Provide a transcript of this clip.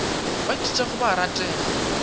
ba ithutago ba a ratega